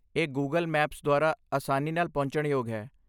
ਇਹ Google Maps ਦੁਆਰਾ ਆਸਾਨੀ ਨਾਲ ਪਹੁੰਚਣਯੋਗ ਹੈ